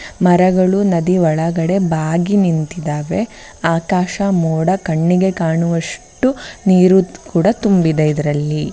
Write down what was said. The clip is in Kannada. ಮರಗಳು ನದಿಯ ಒಳಗಡೆ ಬಾಗಿ ನಿಂತಿದ್ದಾವೆ ಆಕಾಶ ಮೋಡ ಕಣ್ಣಿಗೆ ಕಾಣುವಷ್ಟು ನೀರು ಕೂಡ ತುಂಬಿದೆ ಇದರಲ್ಲಿ .